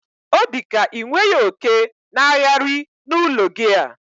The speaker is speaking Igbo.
odika inweghi oke n'aghari na ulo gi a